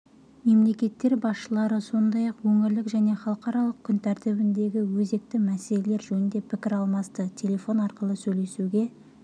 мемлекеттер басшылары сондай-ақ өңірлік және халықаралық күн тәртібіндегі өзекті мәселелер жөнінде пікір алмасты телефон арқылы сөйлесуге